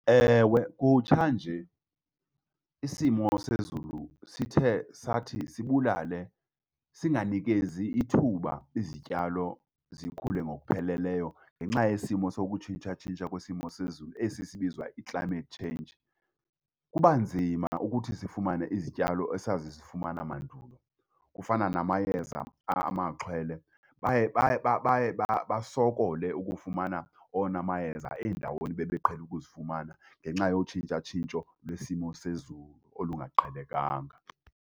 Ewe, kutshanje isimo sezulu sithe sathi sibulale singanikezi ithuba, izityalo zikhule ngokupheleleyo ngenxa yesimo sokutshintshatshintsha kwesimo sezulu esi sibizwa i-climate change. Kuba nzima ukuthi sifumane izityalo esasizifumana mandulo. Kufana namayeza amaxhwele, baye baye baye basokole ukufumana wona mayeza eendaweni ebebeqhele ukuzifumana ngenxa yotshintshotshintsho lwesimo sezulu olungaqhelekanga.